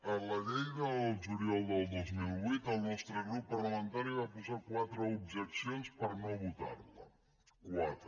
en la llei del juliol del dos mil vuit el nostre grup parlamentari va posar quatre objeccions per no votar la quatre